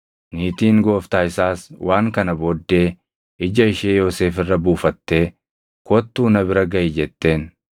niitiin gooftaa isaas waan kana booddee ija ishee Yoosef irra buufattee, “Kottuu na bira gaʼi!” jetteen.